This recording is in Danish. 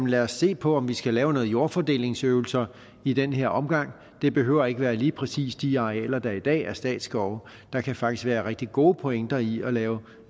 lad os se på om vi skal lave nogle jordfordelingsøvelser i den her omgang det behøver ikke at være lige præcis de arealer der i dag er statsskove der kan faktisk være en rigtig god pointe i at lave